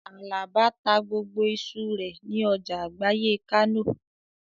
Àlàbá ta gbogbo iṣu rẹ̀ ní ọjà àgbáyé Kánò